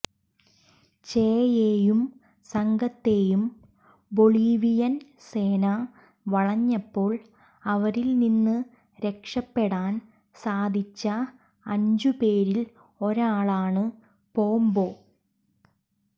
ചെയെയും സംഘത്തെയും ബൊളീവിയൻ സേന വളഞ്ഞപ്പോൾ അവരിൽനിന്ന് രക്ഷപ്പെടാൻ സാധിച്ച അഞ്ചുപേരിൽ ഒരാളാണ് പോമ്പോ